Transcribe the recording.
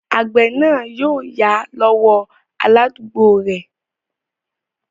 Àgbẹ̀ náà yóò yá lọ́wọ́ aládúgbò rẹ̀